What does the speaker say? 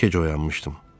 Gec oyanmışdım.